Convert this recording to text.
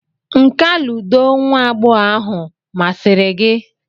nka ludo nwa agbọghọ ahụ masịrị gị?